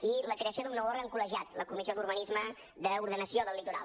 i la creació d’un nou òrgan col·legiat la comissió d’urbanisme d’ordenació del litoral